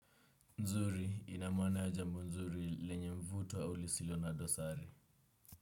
Nzuri, ina maana ya jambo nzuri lenye mvuto au lisilo na dosari.